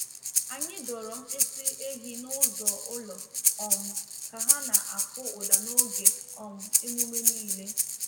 Anyị dọrọ mkpịsị ehi n’ụzọ ụlọ um ka ha na-akụ ụda n’oge um emume niile.